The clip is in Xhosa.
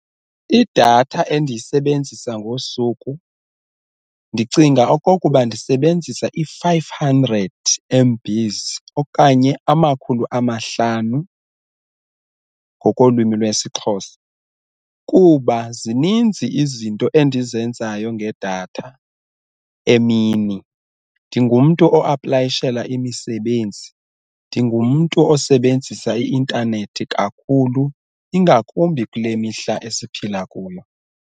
Idatha endiyisebenzisa ngosuku ndicinga ukuba ndisebenzisa i-five hundred M_Bs okanye amakhulu amahlanu ngokolwimi lwesiXhosa kuba zininzi izinto endizenzayo ngedatha emini, ndingumntu o-aplayishela imisebenzi, ndingumntu osebenzisa i-intanethi kakhulu ingakumbi kule mihla esiphila kuyo.